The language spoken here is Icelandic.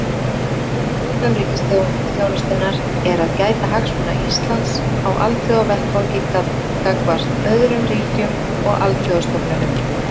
Meginhlutverk utanríkisþjónustunnar er að gæta hagsmuna Íslands á alþjóðavettvangi gagnvart öðrum ríkjum og alþjóðastofnunum.